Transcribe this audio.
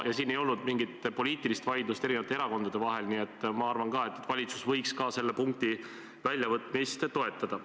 Ja siin ei olnud mingit poliitilist vaidlust eri erakondade vahel, nii et ma arvan ka, et valitsus võiks nende punktide väljavõtmist toetada.